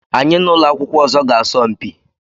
Anyị na ụlọ akwụkwọ ọzọ ga-asọ mpi.